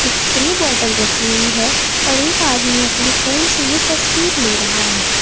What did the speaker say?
Spray bottle रखी हुई है और एक आदमी अपने फोन से ये तस्वीर ले रहा है।